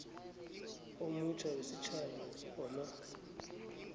omutjha wesitjhaba wamanzi